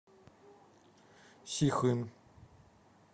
сихын